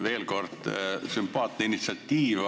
Veel kord: sümpaatne initsiatiiv.